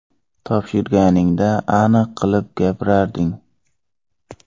Topshirganingda aniq qilib gapirarding.